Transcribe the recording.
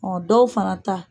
Ɔ dɔw fana ta